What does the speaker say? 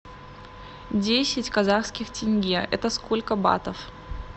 десять казахских тенге это сколько батов